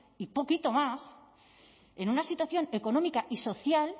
y poquito más en una situación económica y social